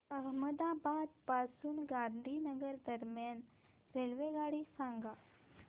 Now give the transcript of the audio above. अहमदाबाद पासून गांधीनगर दरम्यान रेल्वेगाडी सांगा